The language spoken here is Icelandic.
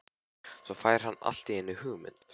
Svo fær hann allt í einu hugmynd.